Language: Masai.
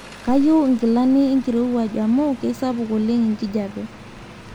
kayieu inkilani enkirowuaj amu keisapuk oleng enkijape